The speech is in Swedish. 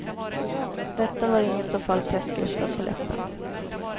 Detta var inget som föll testgruppen på läppen.